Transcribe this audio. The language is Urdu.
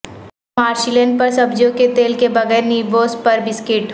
مارشلین پر سبزیوں کے تیل کے بغیر نیبوس پر بسکٹ